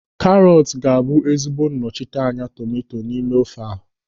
Karọt ga-abụ ezigbo nnọchiteanya tomanto n'ime ofe a.